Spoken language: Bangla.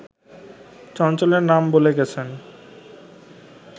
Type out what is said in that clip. চঞ্চলের নাম বলে গেছেন